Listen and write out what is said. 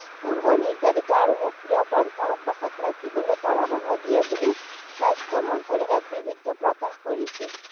পূৰ্ব নিৰ্ধাৰিত আৰু সক্ৰিয় প্ৰন্থা অব্যাহত ৰাখিবলৈ পৰামৰ্শ দিয়ে বুলি স্বাস্থ্য মন্ত্ৰালয়ে এক বিবৃতি প্ৰকাশ কৰিছে।